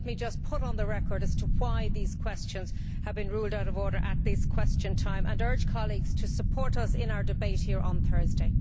Let me just put on the record why these questions have been ruled out of order at this Question Time, and urge colleagues to support us in our debate here on Thursday.